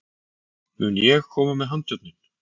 Mun ég koma með handjárnin?